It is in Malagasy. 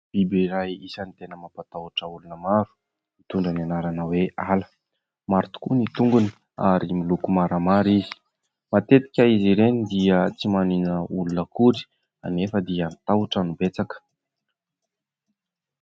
Biby iray isany tena mampatahotra olona maro mitondra ny anarana hoe « ala». Maro tokoa ny tongony ary miloko maramara izy. Matetika izy ireny dia tsy maninona olona akory anefa dia ny tahotra no betsaka.